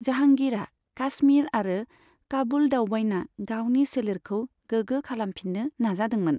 जाहांगीरआ काश्मीर आरो काबुल दावबायना गावनि सोलेरखौ गोग्गो खालामफिन्नो नाजादोंमोन।